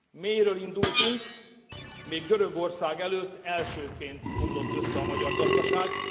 Mélyről indultunk, még Görögország előtt elsőként omlott össze a magyar gazdaság.